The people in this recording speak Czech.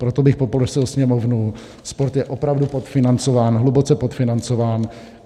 Proto bych poprosil Sněmovnu - sport je opravdu podfinancován, hluboce podfinancován.